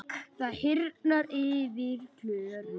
Það hýrnar yfir Klöru.